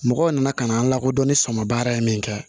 Mɔgɔw nana ka na an lakodɔn ni sɔmɔ baara ye min kɛ